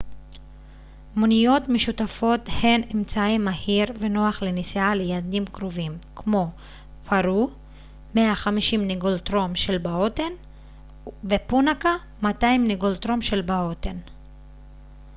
מוניות משותפות הן אמצעי מהיר ונוח לנסיעה ליעדים קרובים כמו פארו 150 נגולטרום של בהוטן ופונאקה 200 נגולטרום של בהוטן